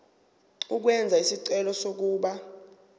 ukwenza isicelo sokuba